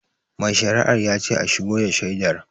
Mai shari'ar yace a shigo da shaidar